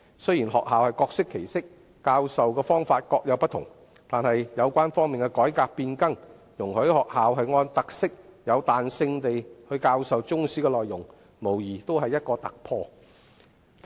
雖然學校各適其適，各有不同的教授方法，但有關方面的改革變更，容許學校按特色彈性教授中史的內容，這無疑是突破。